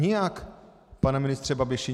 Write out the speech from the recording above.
Nijak, pane ministře Babiši!